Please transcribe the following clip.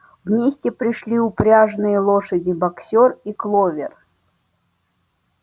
вместе пришли упряжные лошади боксёр и кловер